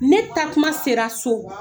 Ne taa tuma sera so